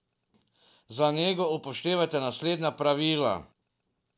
Za nego upoštevajte naslednja pravila.